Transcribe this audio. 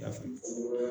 I n'a fɔ